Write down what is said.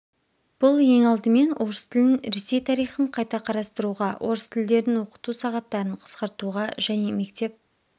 бұл ең алдымен орыс тілін ресей тарихын қайта қарастыруға орыс тілдерін оқыту сағаттарын қысқартуға және мектеп